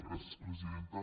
gràcies presidenta